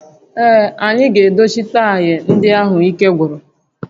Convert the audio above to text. Ee, anyị ga-edochi taya ndị ahụ ike gwụrụ